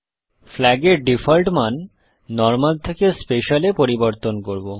flag এর default মান normal থেকে Special এ পরিবর্তন করব